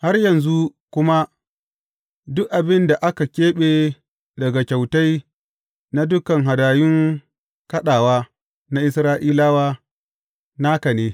Har yanzu kuma duk abin da aka keɓe daga kyautai na dukan hadayun kaɗawa na Isra’ilawa naka ne.